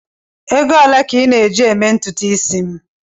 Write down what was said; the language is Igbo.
Ego ole ka ị na-eji eme ntutu isi m?